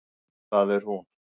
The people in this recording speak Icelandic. Það er hún!